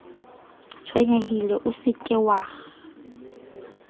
tshwenyehile o se ke wa